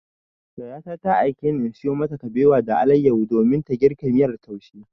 Yayata ta aikeni in sayo mata kabewa da alayyahu domin ta girka miyar taushe.